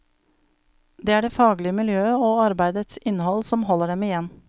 Det er det faglige miljøet og arbeidets innhold som holder dem igjen.